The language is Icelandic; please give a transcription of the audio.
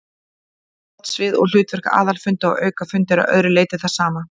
Valdsvið og hlutverk aðalfunda og aukafunda er að öðru leyti það sama.